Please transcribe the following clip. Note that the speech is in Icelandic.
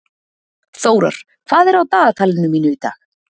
Þórar, hvað er á dagatalinu mínu í dag?